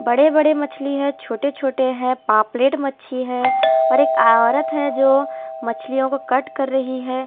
बड़े बड़े मछली हैं छोटे छोटे हैं पापलेट मच्छी है और एक औरत है जो मछलियों को कट कर रही है।